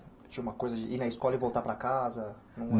Tinha uma coisa de ir na escola e voltar para casa?